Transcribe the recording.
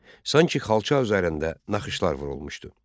Sanki xalça üzərində naxışlar vurulmuşdu.